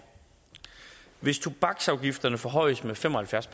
hvis tobaksafgifterne forhøjes med fem og halvfjerds